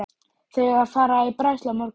Þau eiga að fara í bræðslu á morgun.